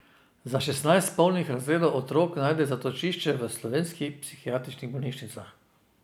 Za šestnajst polnih razredov otrok najde zatočišče v slovenskih psihiatričnih bolnišnicah.